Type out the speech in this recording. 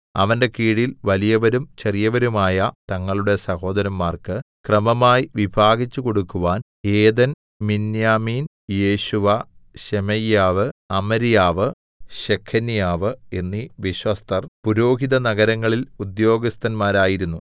അവന്റെ കീഴിൽ വലിയവരും ചെറിയവരുമായ തങ്ങളുടെ സഹോദരന്മാർക്ക് ക്രമമായി വിഭാഗിച്ച് കൊടുക്കുവാൻ ഏദെൻ മിന്യാമീൻ യേശുവ ശെമയ്യാവ് അമര്യാവ് ശെഖന്യാവ് എന്നീ വിശ്വസ്തർ പുരോഹിതനഗരങ്ങളിൽ ഉദ്യോഗസ്ഥന്മാരായിരുന്നു